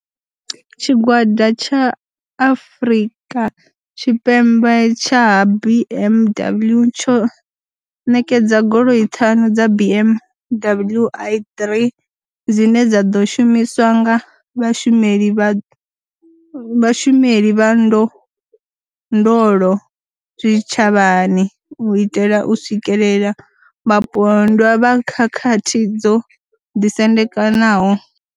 Tshigwada tsha Afrika Tshipembe tsha ha BMW tsho ṋekedza goloi ṱhanu dza BMW i3 dzine dza ḓo shumiswa nga vhashumeli vha ndondolo zwitshavhani u itela u swikelela vhapondwa vha khakhathi dzo ḓisendekaho.